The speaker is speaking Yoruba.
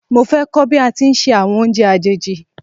Mo fé kọ́ bí a ti ń se àwọn oúnjẹ àjèjì